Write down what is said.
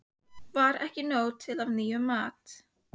Var ekki nóg til af nýjum mat?